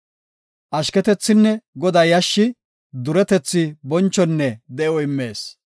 Ashketethinne Godaa yashshi, duretethi, bonchonne de7o immees.